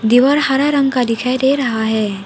दीवार हरा रंग का दिखाई दे रहा है।